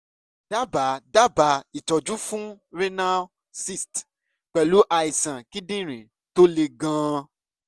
dábàá dábàá ìtọ́jú fún renal cyst pẹ̀lú àìsàn kíndìnrín tó le gan-an